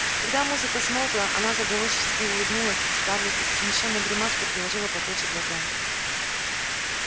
когда музыка смолкла она заговорчески улыбнулась скарлетт и со смущённой гримаской приложила платочек к глазам